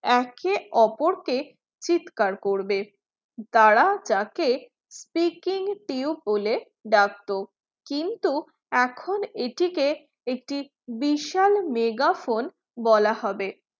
একে ওপরকে চিৎকার করবে দ্বারা যাকে shaking tube বলে ডাকতো কিন্তু এখন এটি কে একটি বিশাল megaphone বলা হবে